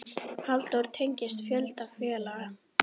Halldór tengist fjölda félaga.